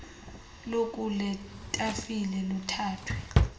lukule tafile luthathwe